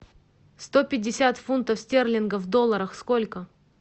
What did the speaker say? сто пятьдесят фунтов стерлингов в долларах сколько